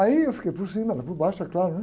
Aí eu fiquei por cima, ela por baixo, é claro, né?